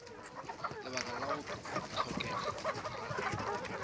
lebaka la go hlokega ga